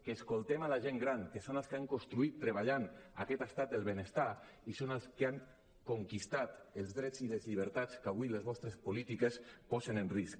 que escoltem la gent gran que són els que han construït treballant aquest estat del benestar i són els que han conquerit els drets i les llibertats que avui les vostres polítiques posen en risc